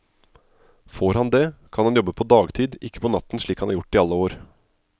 Får han det, kan han jobbe på dagtid, ikke på natten slik han har gjort i alle år.